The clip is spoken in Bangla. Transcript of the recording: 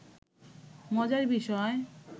মজার বিষয়